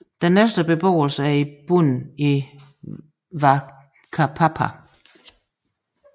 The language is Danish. Den næste beboelse er i bunden i Whakapapa